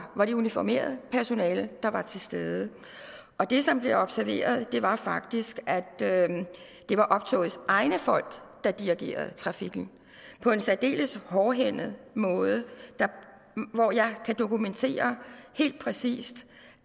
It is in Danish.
var det uniformeret personale der var til stede det som blev observeret var faktisk at det at det var optogets egne folk der dirigerede trafikken på en særdeles hårdhændet måde og jeg kan dokumentere helt præcist